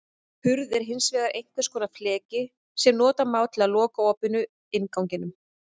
Hurð er hins vegar einhvers konar fleki sem nota má til að loka opinu, innganginum.